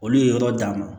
Olu ye yɔrɔ d'a ma